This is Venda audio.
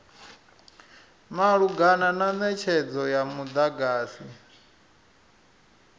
malugana na netshedzo ya mudagasi